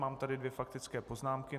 Mám tady dvě faktické poznámky.